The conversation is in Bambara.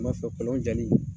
I ma fɛ kolon jali